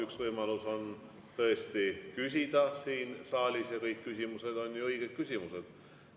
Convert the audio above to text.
Üks võimalus on tõesti küsida siin saalis, ja kõik küsimused on ju õiged küsimused.